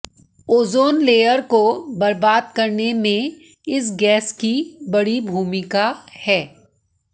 ozone layer को बर्बाद करने में इस गैस की बड़ी भूमिका है